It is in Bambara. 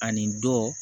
Ani dɔ